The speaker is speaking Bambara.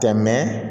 Tɛ